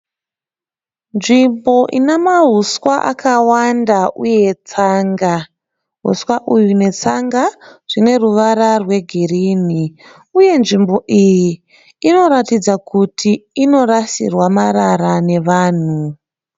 Nzvimbo ine mahuswa akawanda uye tsanga. Tsanga nehuswa netsanga zvineruvara rwegirinhi. Uye nzvimbo iyi inoratidza kuti inorasirwa marara nevanhu.